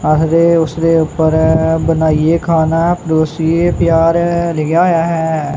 ਆਖਦੇ ਉਸਦੇ ਉਪਰ ਬਣਾਈਏ ਖਾਣਾ ਪਰੋਸੀਏ ਪਿਆਰ ਲਿਖਿਆ ਹੋਇਆ ਹੈ।